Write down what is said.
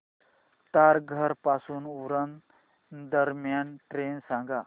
तारघर पासून उरण दरम्यान ट्रेन सांगा